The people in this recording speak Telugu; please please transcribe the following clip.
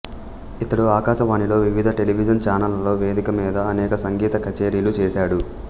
ఇతడు ఆకాశవాణిలో వివిధ టెలివిజన్ ఛానళ్ళలో వేదికల మీద అనేక సంగీత కచేరీలు చేశాడు